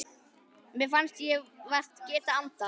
Mér fannst ég vart geta andað.